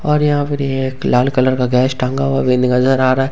और यहां पर ही एक लाल कलर का गैस टांगा हुआ भी नजर आ रहा है।